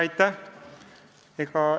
Aitäh!